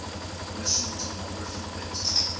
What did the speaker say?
emission tomography pet